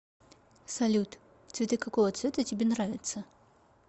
салют цветы какого цвета тебе нравятся